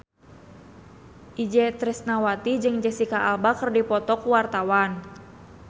Itje Tresnawati jeung Jesicca Alba keur dipoto ku wartawan